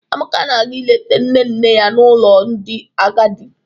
Amaka na-aga ileta nne nne ya nọ n'ụlọ ndị agadi.